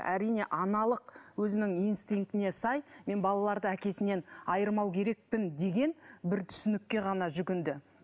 әрине аналық өзінің инстинктіне сай мен балаларды әкесінен айырмау керекпін деген бір түсінікке ғана жүгінді